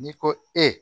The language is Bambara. N'i ko e